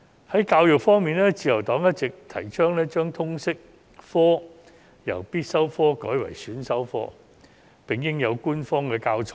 在教育方面，自由黨一直提倡把通識科由必修科改為選修科，並應有官方教材。